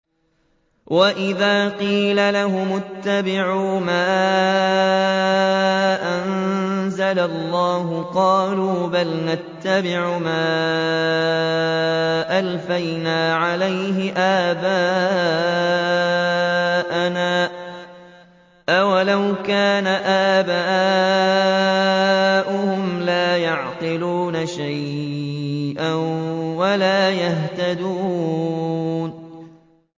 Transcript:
وَإِذَا قِيلَ لَهُمُ اتَّبِعُوا مَا أَنزَلَ اللَّهُ قَالُوا بَلْ نَتَّبِعُ مَا أَلْفَيْنَا عَلَيْهِ آبَاءَنَا ۗ أَوَلَوْ كَانَ آبَاؤُهُمْ لَا يَعْقِلُونَ شَيْئًا وَلَا يَهْتَدُونَ